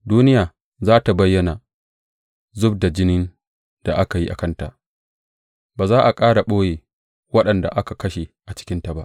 Duniya za tă bayyana zub da jinin da aka yi a kanta; ba za tă ƙara ɓoye waɗanda aka kashe a cikinta ba.